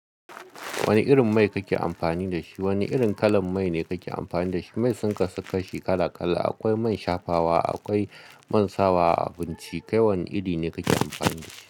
Wanne irin mai kake amfani da shi? Wane irin kalan mai ne kake amfani da shi? Mai sun kasu kashi kala kala. Akwai man shafawa, akwai man sawa, abinci. Kai wane iri ne kake amfani da shi?